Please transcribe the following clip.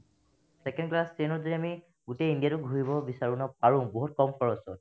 second class train ত যদি আমি গোটেই ইণ্ডিয়াটো ঘূৰিব বিচাৰো ন পাৰো বহুত কম খৰচত